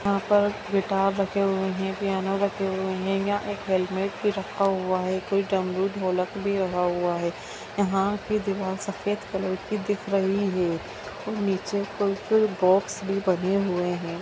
यहाँ पर गिटार रखे हुए हैं पियानो रखे हुए हैं| यहाँ एक हेलमेट भी रखा हुआ है कोई डमरू-ढोलक भी रखा हुआ है| यहाँ की दीवार सफ़ेद कलर कि दिख रही है नीचे कोई कोई बोक्स बने हुए हैं।